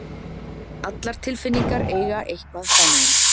Allar tilfinningar eiga eitthvað sameiginlegt.